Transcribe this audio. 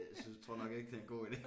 Synes tror nok ikke det er en god ide